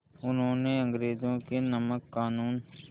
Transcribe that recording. उन्होंने अंग्रेज़ों के नमक क़ानून